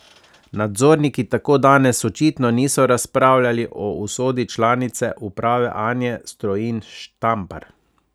Nadzorniki tako danes očitno niso razpravljali o usodi članice uprave Anje Strojin Štampar.